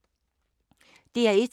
DR1